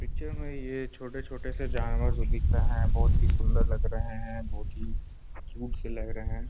Picture में ये छोटे-छोटे से जानवर जो दिख रहे हैं बहुत ही सुंदर लग रहे हैं बहुत ही क्यूट से लग रहे हैं।